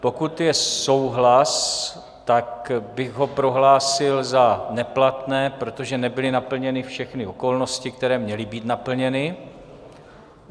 Pokud je souhlas, tak bych ho prohlásil za neplatné, protože nebyly naplněny všechny okolnosti, které měly být naplněny.